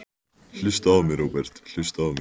Hlustaðu á mig, Róbert, hlustaðu á mig.